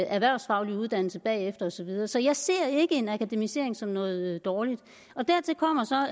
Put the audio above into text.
erhvervsfaglig uddannelse og så videre så jeg ser ikke det med en akademisering som noget dårligt dertil kommer